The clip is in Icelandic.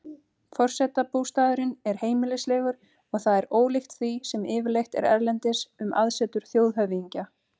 Forsetabústaðurinn er heimilislegur og það er ólíkt því sem yfirleitt er erlendis um aðsetur þjóðhöfðingja.